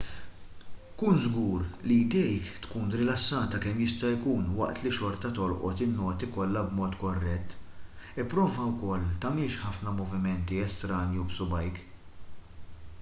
kun żgur li jdejk tkun rilassata kemm jista' jkun waqt li xorta tolqot in-noti kollha b'mod korrett ipprova wkoll tagħmilx ħafna moviment estranju b'subgħajk